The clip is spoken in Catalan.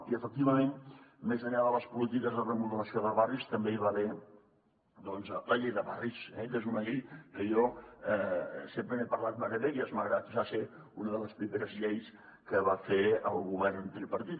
i efectivament més enllà de les polítiques de remodelació de barris també hi va haver la llei de barris eh que és una llei que jo sempre n’he parlat meravelles malgrat que va ser una de les primeres lleis que va fer el govern tripartit